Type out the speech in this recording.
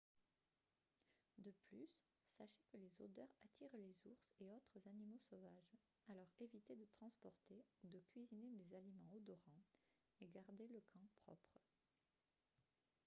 de plus sachez que les odeurs attirent les ours et autres animaux sauvages alors évitez de transporter ou de cuisiner des aliments odorants et gardez le camp propre